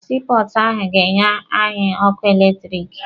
Sii pọọtụ ahụ ga-enye anyị ọkụ eletirisiti.